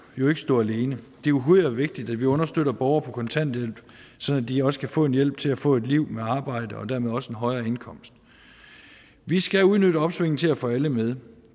jo ikke stå alene det er uhyre vigtigt at vi understøtter borgere på kontanthjælp så de også kan få hjælp til at få et liv med arbejde og dermed også en højere indkomst vi skal udnytte opsvinget til at få alle med